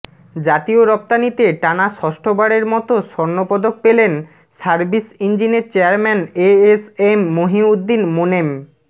জাতীয় রপ্তানিতে টানা ষষ্ঠবারের মতো স্বর্ণপদক পেলেন সার্ভিস ইঞ্জিনের chairman A S M Mohiuddin Monem